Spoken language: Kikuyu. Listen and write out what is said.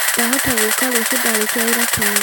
Ndahota gũka rũciũ ndarĩkia wĩra tene